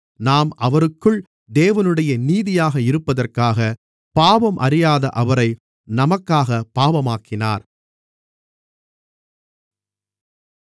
நாம் அவருக்குள் தேவனுடைய நீதியாக இருப்பதற்காக பாவம் அறியாத அவரை நமக்காகப் பாவமாக்கினார்